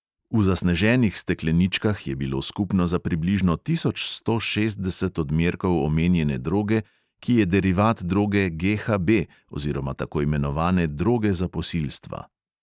V zasneženih stekleničkah je bilo skupno za približno tisoč sto šestdeset odmerkov omenjene droge, ki je derivat droge GHB oziroma tako imenovane droge za posilstva.